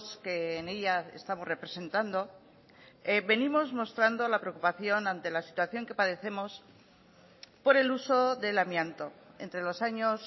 que en ella estamos representando venimos mostrando la preocupación ante la situación que padecemos por el uso del amianto entre los años